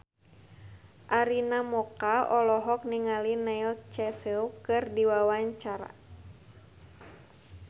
Arina Mocca olohok ningali Neil Casey keur diwawancara